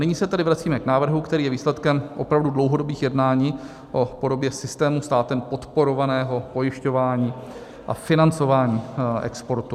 Nyní se tedy vracíme k návrhu, který je výsledkem opravdu dlouhodobých jednání o podobě systému státem podporovaného pojišťování a financování exportu.